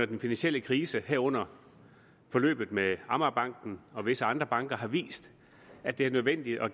den finansielle krise herunder forløbet med amagerbanken og visse andre banker har vist at det er nødvendigt at